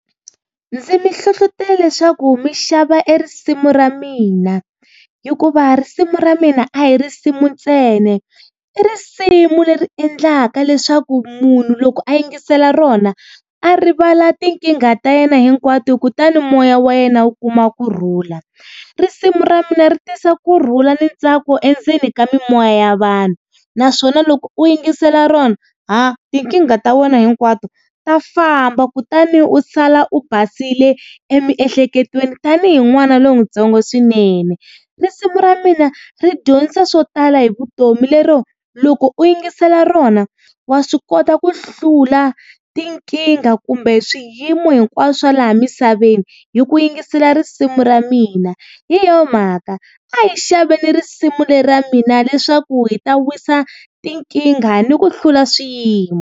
Ndzi mi hlohlotela leswaku mi xava e risimu ra mina. Hikuva risimu ra mina a hi risimu ntsena, i risimu leri endlaka leswaku munhu loko a yingisela rona a rivala tinkingha ta yena hinkwato kutani moya wa yena wu kuma kurhula. Risimu ra mina ri tisa kurhula na ntsako endzeni ka mimoya ya vanhu, naswona loko u yingisela rona ha tinkingha ta wena hinkwato ta famba, kutani u sala u basile emiehleketweni tanihi n'wana lowutsongo swinene. Risimu ra mina ri dyondzisa swo tala hi vutomi lero, loko u yingisela rona wa swi kota ku hlula tinkingha kumbe swiyimo hinkwaswo laha misaveni hi ku yingisela risimu ra mina. Hi yo mhaka a hi xaveni risimu leri ra mina leswaku hi ta wisa tinkingha ni ku hlula swiyimo.